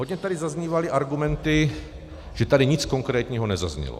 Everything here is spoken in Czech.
Hodně tady zaznívaly argumenty, že tady nic konkrétního nezaznělo.